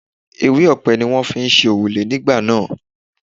Ewé ọ̀pẹ ni wọ́n fi ń ṣe òrùlé nígbà náà.